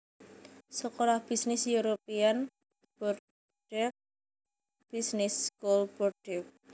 Sekolah bisnis European Bordeaux Business School Bordeaux